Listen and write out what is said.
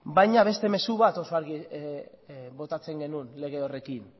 baina beste mezu bat oso argi botatzen genuen lege horrekin